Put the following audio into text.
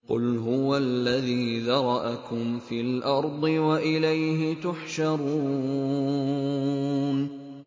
قُلْ هُوَ الَّذِي ذَرَأَكُمْ فِي الْأَرْضِ وَإِلَيْهِ تُحْشَرُونَ